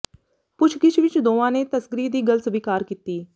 ਪੁੱਛਗਿੱਛ ਵਿਚ ਦੋਵਾਂ ਨੇ ਤਸਕਰੀ ਦੀ ਗੱਲ ਸਵੀਕਾਰ ਕੀਤੀ